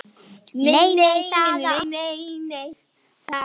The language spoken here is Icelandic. Nei, nei, það átti ekki að láta deigan síga.